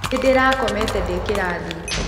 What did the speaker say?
Nĩndĩrakomete ndĩ kĩrathi.